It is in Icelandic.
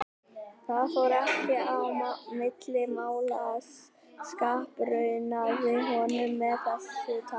Það fór ekki á milli mála að ég skapraunaði honum með þessu tali.